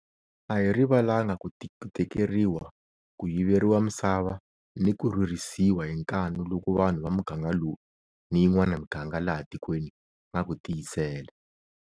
A hi rivalanga ku tekeriwa, ku yiveriwa misava ni ku rhurisiwa hi nkanu loku vanhu va muganga lowu ni yin'wana miganga laha tikweni va nga ku tiyisela.